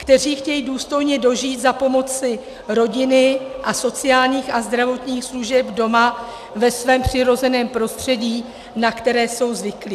Kteří chtějí důstojně dožít za pomoci rodiny a sociálních a zdravotních služeb doma, ve svém přirozeném prostředí, na které jsou zvyklí.